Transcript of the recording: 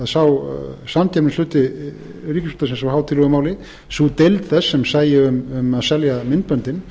sá samkeppnishluti ríkisútvarpsins á hátíðlegu máli sú deild þess sem sæi um að selja myndböndin